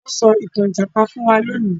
Wón so ìtàn ìjàpá fún wá lóni.